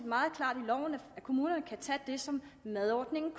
kommunerne kan tage det som madordningen